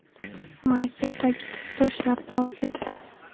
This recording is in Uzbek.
Maysa tagida toshlar bor edi.